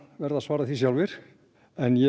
verða að svara sjálfir en ég